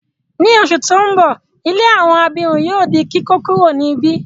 Ni oṣù ti n bọ, ilé àwọn abirùn yóò di kíkókuro ni ibi.